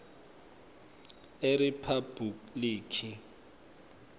eriphabhulikhi